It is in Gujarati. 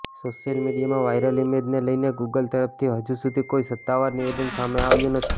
સોશિયલ મીડિયામાં વાયરલ ઇમેજને લઇને ગુગલ તરફથી હજુ સુધી કોઇ સત્તાવાર નિવેદન સામે આવ્યું નથી